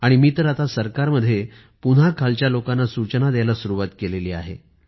आणि मी तर आता सरकारमध्ये पुन्हा खालच्या लोकांना सूचना द्यायला सुरुवात केली आहे